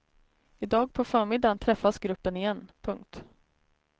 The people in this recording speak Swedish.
I dag på förmiddagen träffas gruppen igen. punkt